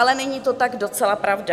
Ale není to tak docela pravda.